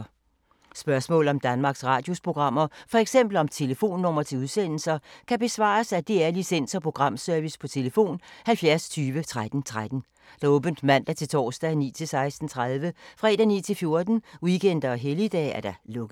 Spørgsmål om Danmarks Radios programmer, f.eks. om telefonnumre til udsendelser, kan besvares af DR Licens- og Programservice: tlf. 70 20 13 13, åbent mandag-torsdag 9.00-16.30, fredag 9.00-14.00, weekender og helligdage: lukket.